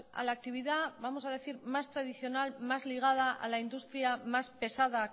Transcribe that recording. a la actividad vamos a decir más tradicional más ligada a la industria más pesada